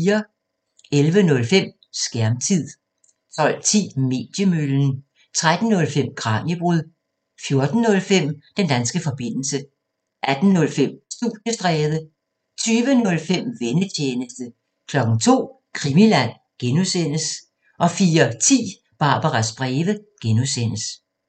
11:05: Skærmtid 12:10: Mediemøllen 13:05: Kraniebrud 14:05: Den danske forbindelse 18:05: Studiestræde 20:05: Vennetjenesten 02:00: Krimiland (G) 04:10: Barbaras breve (G)